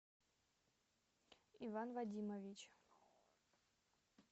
иван вадимович